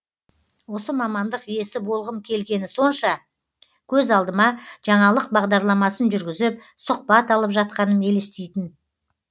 осы мамандық иесі болғым келгені сонша көз алдыма жаңалық бағдарламасын жүргізіп сұқбат алып жатқаным елестейтін